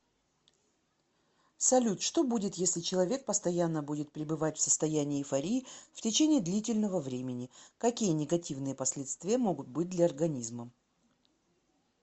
салют что будет если человек постоянно будет пребывать в состоянии эйфории в течении длительного времени какие негативные последствия могут быть для организма